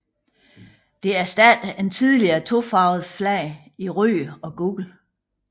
Det erstattede et tidligere tofarvet flag i rødt og gult